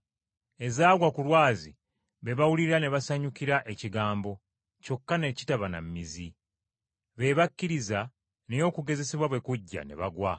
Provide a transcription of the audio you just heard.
Ezaagwa ku lwazi be bawulira ne basanyukira ekigambo, kyokka ne kitaba na mmizi. Be bakkiriza, naye okugezesebwa bwe kujja ne bagwa.